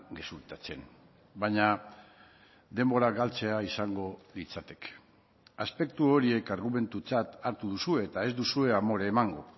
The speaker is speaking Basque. gezurtatzen baina denbora galtzea izango litzateke aspektu horiek argumentutzat hartu duzue eta ez duzue amore emango